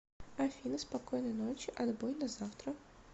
афина спокойной ночи отбой до завтра